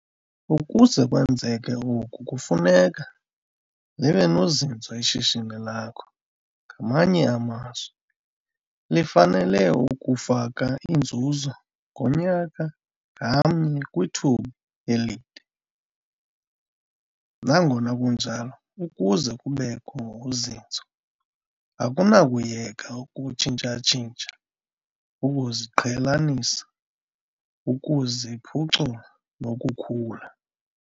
Ukuze kwenzeke oku kufuneka libe nozinzo ishishini lakho, ngamanye amazwi, lifanele ukufaka inzuzo ngonyaka ngamnye kwithuba elide. Nangona kunjalo, ukuze kubekho uzinzo akunakuyeka ukutshintsha-tshintsha, ukuziqhelanisa, ukuziphucula nokukhula.